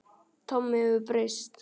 Tommi hefur breyst.